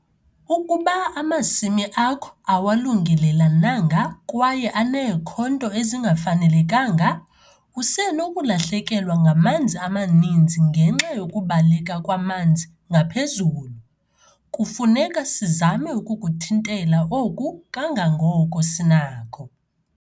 Ukuba amasimi akho awalungelelananga kwaye aneekhonto ezingafanelekanga, usenokulahlekelwa ngamanzi amaninzi ngenxa yokubaleka kwamanzi ngaphezulu. Kufuneka sizame ukukuthintela oku kangangoko sinako.